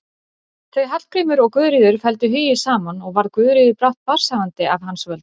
Þau Hallgrímur og Guðríður felldu hugi saman og varð Guðríður brátt barnshafandi af hans völdum.